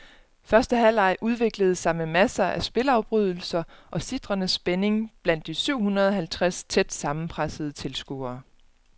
Første halvleg udviklede sig med masser af spilafbrydelser og sitrende spænding blandt de syv hundrede halvtreds tæt sammenpressede tilskuere.